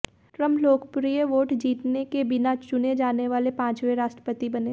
Trump लोकप्रिय vote जीतने के बिना चुने जाने वाले पांचवें राष्ट्रपति बने